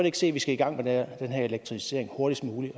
ikke se at vi skal i gang med den her elektrificering hurtigst muligt